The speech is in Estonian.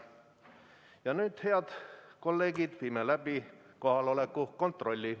Ja nüüd, head kolleegid, viime läbi kohaloleku kontrolli.